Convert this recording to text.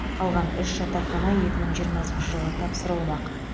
қалған үш жатақхана екі мың жиырмасыншы жылы тапсырылмақ